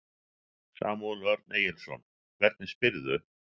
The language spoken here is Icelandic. Samúel Örn Erlingsson, hvernig spyrðu?